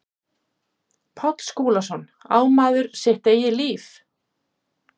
Páll Skúlason, Á maður sitt eigið líf?